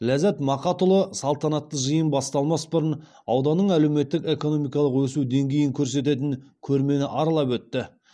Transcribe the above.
ляззат мақатұлы салтанатты жиын басталмас бұрын ауданның әлеуметтік экономикалық өсу деңгейін көрсететін көрмені аралап өтті